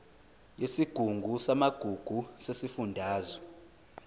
yesigungu samagugu sesifundazwe